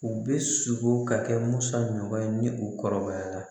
U bɛ sogo ka kɛ musa ɲɔgɔn ye ni u kɔrɔbayara